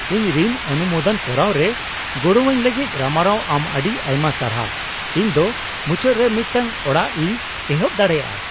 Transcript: ᱤᱧ ᱨᱤᱱ ᱚᱱᱩᱢᱳᱫᱚᱱ ᱠᱚᱨᱟᱣ ᱨᱮ ᱜᱚᱲᱚᱣᱟᱹᱧ ᱞᱟᱹᱜᱤᱫ ᱨᱟᱢᱟᱨᱟᱣ ᱟᱢ ᱟᱹᱰᱤ ᱟᱭᱢᱟ ᱥᱟᱨᱦᱟᱣ ᱾ ᱤᱧ ᱫᱚ ᱢᱩᱪᱟᱹᱫᱨᱮ ᱢᱤᱫᱴᱟᱝ ᱚᱲᱟᱜᱤᱧ ᱮᱦᱚᱯ ᱫᱟᱲᱮᱭᱟᱜᱼᱟ ᱾